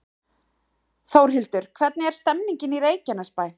Þórhildur, hvernig er stemningin í Reykjanesbæ?